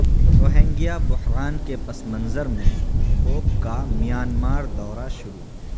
Rohingya بحران کے پس منظر میں پوپ کا میانمار دورہ شروع